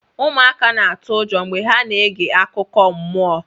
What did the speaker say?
ụmụaka na-atụ ụjọ mgbe ha na-ege akụkọ mmụọ